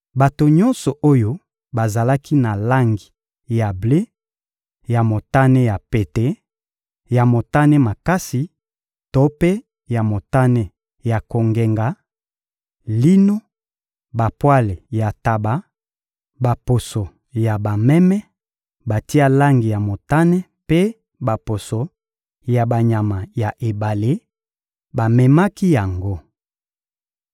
Bato nyonso oyo bazalaki na langi ya ble, ya motane ya pete, ya motane makasi to mpe ya motane ya kongenga, lino, bapwale ya ntaba, baposo ya bameme batia langi ya motane mpe baposo ya banyama ya ebale, bamemaki yango.